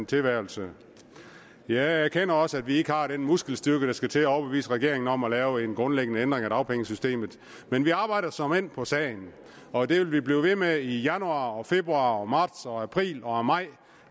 tilværelse jeg erkender også at vi ikke har den muskelstyrke der skal til at overbevise regeringen om at lave en grundlæggende ændring af dagpengesystemet men vi arbejder såmænd på sagen og det vil vi blive ved med i januar og februar og marts og april og maj